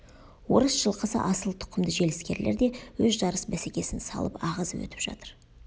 орыс жылқысы асыл тұқымды желіскерлер де өз жарыс бәсекесін салып ағызып өтіп жатыр